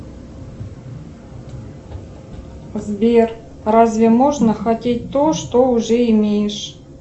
сбер разве можно хотеть то что уже имеешь